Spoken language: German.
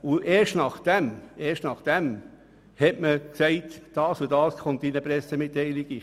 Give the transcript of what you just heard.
Erst danach hat man gesagt, was in die Pressemitteilung kommt.